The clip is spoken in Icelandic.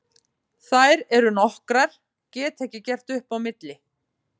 Þær eru nokkrar, get ekki gert upp á milli.